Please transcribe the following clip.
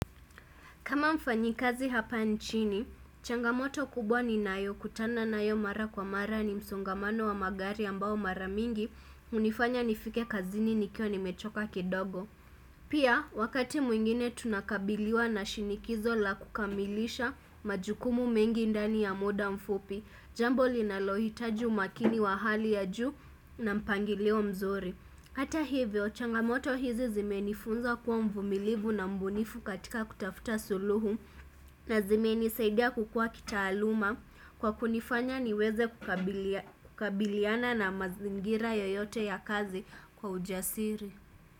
Kama mfanyikazi hapa nchini, changamoto kubwa ninayokutana nayo mara kwa mara ni msongamano wa magari ambao mara mingi hunifanya nifike kazini nikiwa nimechoka kidogo. Pia, wakati mwingine tunakabiliwa na shinikizo la kukamilisha majukumu mengi ndani ya muda mfupi, jambo linalohitaji umakini wa hali ya juu na mpangilio mzuri. Hata hivyo, changamoto hizi zimenifunza kuwa mvumilivu na mbunifu katika kutafuta suluhu na zimenisaidia kukua kitaaluma kwa kunifanya niweze kukabiliana na mazingira yoyote ya kazi kwa ujasiri.